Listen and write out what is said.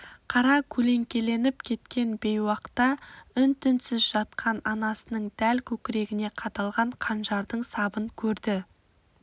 қара көлеңкеленіп кеткен бейуақта үн-түнсіз жатқан анасының дәл көкірегіне қадалған қанжардың сабын көрді